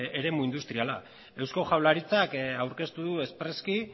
eremu industriala eusko jaurlaritzak aurkeztu du espreski